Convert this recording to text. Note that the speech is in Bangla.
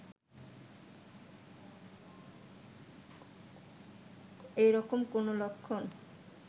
এরকম কোন লক্ষণ